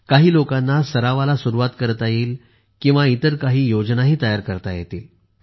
काही लोकांना सरावाला सुरुवात करता येईल इतर काही योजनाही तयार करता येतील